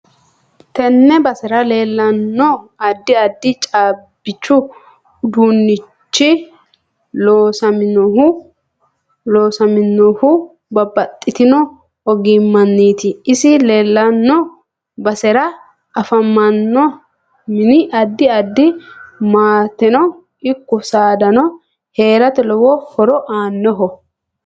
Tenne basera leelanno addi addi caabichu uduunichi loosaminohu babbaxitino ogimaniiti isi leelanno basera afamanno mini addi addi maateno ikko saadanno heerate lowo horo aanoho